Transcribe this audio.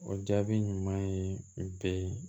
O jaabi ɲuman ye bɛn